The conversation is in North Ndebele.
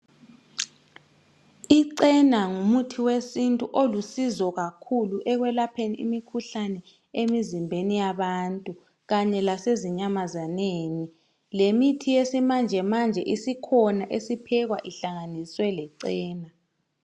Icena ngumuthi wesintu olusizo ekwelapheni imikhuhlane emizimbeni yabantu kanye lasezinyamazaneni. Lemithi yesimanjemanje isiphekwa ihlanganiswe lecena.